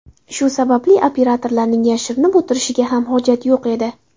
Shu sababli operatorlarning yashirinib o‘tirishiga ham hojat yo‘q edi.